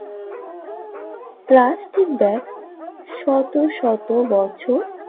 plastic bag শত শত বছর